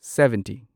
seventy